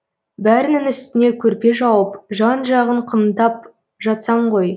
бәрінің үстіне көрпе жауып жан жағын қымтап жатсам ғой